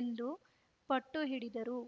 ಎಂದು ಪಟ್ಟುಹಿಡಿದರು